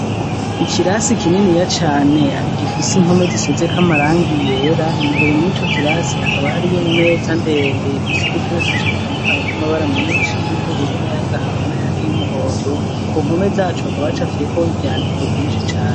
Ikirasi kininiya cane gifise impome zisize k amarangi ryera imbere mu ico kirasi hakaba hari yo imeza ndende yifise udutebe twinshi dutandukanye tw'amabara menshi y'ibururu n'ayagahama n ayandi y'umuhondo ku mpome zacu hakaba hacafiye ko ivyandiko vyinshi cane.